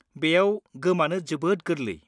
बेयाव गोमानो जोबोद गोरलै।